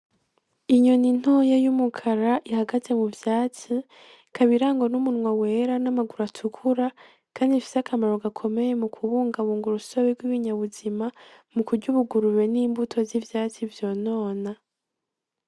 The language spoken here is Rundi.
Inyoni ntoya y'umukara ihagaze mu vyatsi ikaba irangwa n'umunwa wera n'amaguru atukura kandi ifise akamaro gakomeye mu kubungabunga urusobe bw'ibinyabuzima mu kurya ubugurube n'imbuto z'ivyatsi vyonona.